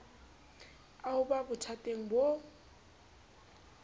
a ho ba bothateng bo